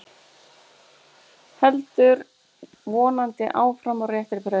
Heldur vonandi áfram á réttri braut